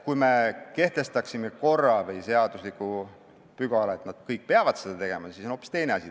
Kui me kehtestaksime korra või seadusepügala, et nad kõik peavad seda tegema, siis oleks hoopis teine asi.